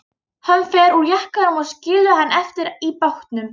Hann fer úr jakkanum og skilur hann eftir í bátnum.